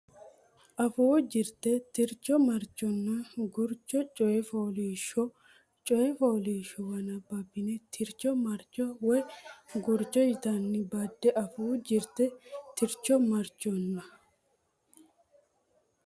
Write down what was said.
Afuu Jirte Tircho Marchonna Gurdancho Coy Fooliishsho coy fooliishshuwa nabbabbine tircho marcho woy gurdancho yitinanni badde Afuu Jirte Tircho Marchonna.